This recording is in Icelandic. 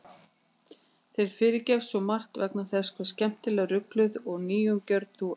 Þér fyrirgefst svo margt vegna þess hve skemmtilega rugluð og nýjungagjörn þú ert.